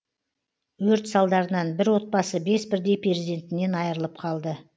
өрт салдарынан бір отбасы бес бірдей перзентінен айырылып қалды